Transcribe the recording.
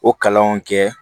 O kalanw kɛ